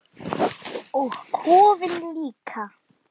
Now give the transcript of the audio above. Og kofinn líka!